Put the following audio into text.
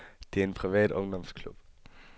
Det er en privat ungdomsklub.